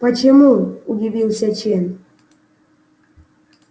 почему удивился чен